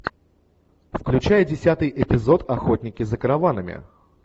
включай десятый эпизод охотники за караванами